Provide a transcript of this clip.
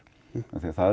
það